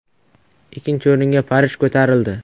Ikkinchi o‘ringa Parij ko‘tarildi.